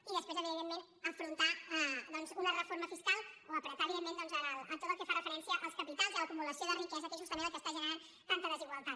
i després evidentment afrontar una reforma fiscal o apretar doncs en tot el que fa referència als capitals i a l’acumulació de riquesa que és justament el que està generant tanta desigualtat